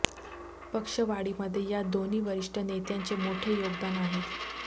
पक्षवाढीमध्ये या दोन्ही वरिष्ठ नेत्यांचे मोठे योगदान आहे